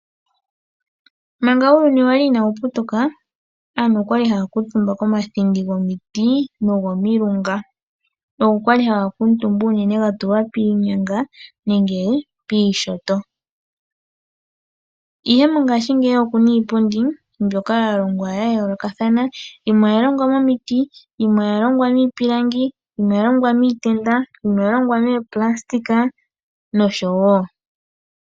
Manga uuyuni wa li inaawu putuka, aantu oya li haya kuutumba komathindi gomiti nogomilunga. Ogo ga li haga kuutumbwa unene ga tulwa piinyanga, ihe ngaashingeyi okuna iipundi mbyoka ya longwa ya yoolokathana. Yimwe oya longwa momiti, yimwe oya longwa miipilangi, yimwe oya longwa miitenda, yimwe oya longwa mooplasitika nosho tuu.